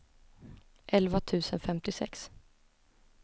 elva tusen femtiosex